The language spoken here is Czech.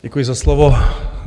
Děkuji za slovo.